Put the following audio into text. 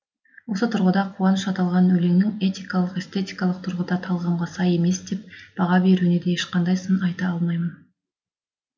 осы тұрғыда қуаныш аталған өлеңнің этикалық эстетикалық тұрғыда талғамға сай емес деп баға беруіне де ешқандай сын айта алмаймын